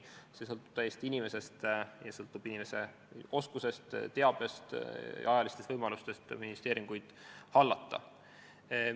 See sõltub täiesti inimesest, see sõltub inimese oskustest, teabest, ajalistest võimalustest investeeringuid hallata.